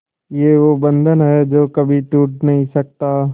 ये वो बंधन है जो कभी टूट नही सकता